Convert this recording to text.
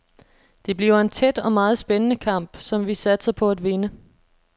Det bliver en tæt og meget spændende kamp, som vi satser på at vinde.